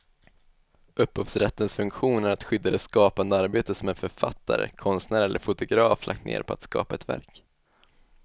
Upphovsrättens funktion är att skydda det skapande arbete som en författare, konstnär eller fotograf lagt ned på att skapa ett verk.